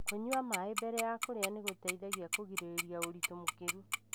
Kũnyua maĩ mbere ya kũria nĩgũteithagia kũrĩgĩria ũritũ mũkĩrũ.